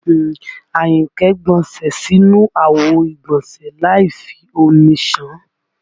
Àyìnkẹ́ gbọnsẹ̀ sínú àwo ìgbọ̀nsẹ́ láì fi omi ṣàn án